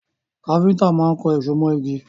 Káfíntà má kan èso mọ igi